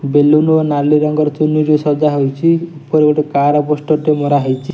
Balloon ଓ ନାଲି ରଙ୍ଗର ଚୁନରି ସଜାହୋଇଛି ଉପରେ ଗୋଟେ କାର ପୋଷ୍ଟର ଟେ ମରାହେଇଛି।